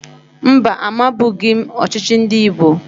Mba, amabughi m ọchịchị ndị Igbo